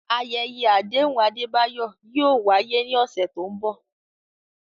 Ayẹyẹ àdéhùn Adebayo yóò wáyé ní ọ̀sẹ̀ tó ń bọ̀.